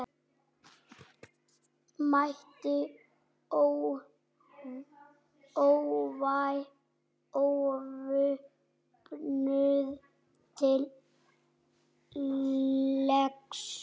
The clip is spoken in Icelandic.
Mætti óvopnuð til leiks.